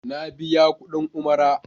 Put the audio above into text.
Na biya kuɗin Umara.